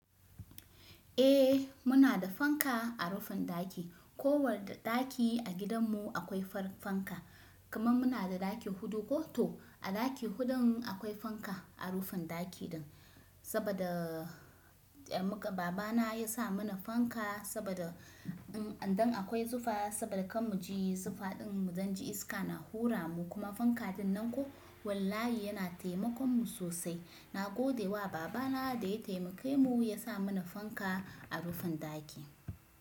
Eh muna da fanka a rufin ɗaki. Ko wanda ɗaki a gidan mu akwai fanka. Kaman muna da ɗaki huɗu ko, to a ɗaki huɗun akwai fanka a rufin ɗaki din. Saboda, eh, muka baba na ya sa mana fanka saboda in an dai akwai zufa saboda kar muji zufa din mu dan ji iska na hura mu kuma fanka ɗin nan ko wallahi yana taimakon mu sosai. Na gode wa baba na da ya taimake mu ya sa mana fanka a rufin ɗaki.